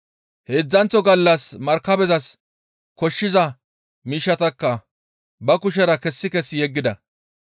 Heedzdzanththo gallas markabezas koshshiza miishshatakka ba kushera kessi kessi yeggida.